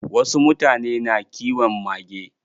Wasu mutane na kiwon mage.